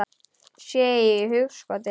Sé í hugskot þitt.